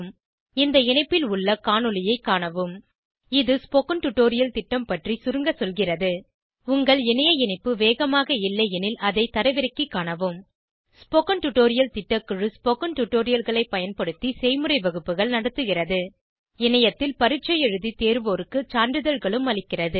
இந்த இணைப்பில் உள்ள காணொளியைக் காணவும் httpspoken tutorialorgWhat is a Spoken tutorial இது ஸ்போகன் டுடோரியல் திட்டம் பற்றி சுருங்க சொல்கிறது உங்கள் இணைய இணைப்பு வேகமாக இல்லையெனில் அதை தரவிறக்கிக் காணவும் ஸ்போகன் டுடோரியல் திட்டக்குழு ஸ்போகன் டுடோரியல்களைப் பயன்படுத்தி செய்முறை வகுப்புகள் நடத்துகிறது இணையத்தில் பரீட்சை எழுதி தேர்வோருக்கு சான்றிதழ்களும் அளிக்கிறது